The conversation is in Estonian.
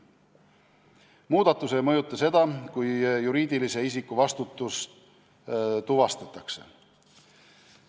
Muudatus ei mõjuta seda, kui juriidilise isiku vastutus tuvastatakse.